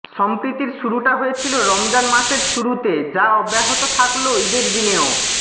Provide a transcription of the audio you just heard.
সম্প্রীতির শুরুটা হয়েছিল রমজান মাসের শুরুতে যা অব্যাহত থাকল ইদের দিনেও